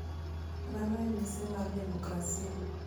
mano e mise mar demokrasia."